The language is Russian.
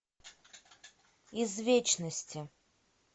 из вечности